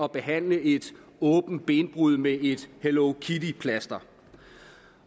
behandle et åbent benbrud med et hello kitty plaster